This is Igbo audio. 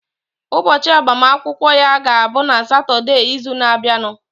Ụbọchị agbamakwụkwọ ya ga-abụ na Satọdee izu na abianu